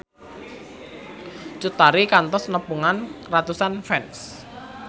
Cut Tari kantos nepungan ratusan fans